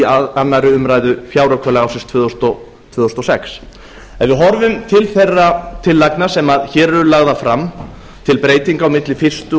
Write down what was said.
í annarri umræðu fjáraukalaga ársins tvö þúsund og sex ef við horfum til þeirra tillagna sem hér eru lagðar fram til breytinga á milli fyrstu